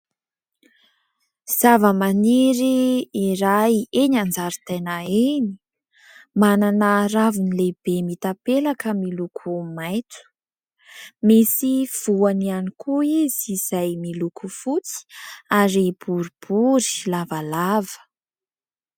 Zavamaniry iray eny an-jaridaina eny. Manana raviny lehibe mitapelaka amin'ny loko maitso. Misy voany ihany koa izy izay miloko fotsy ary boribory lavalava.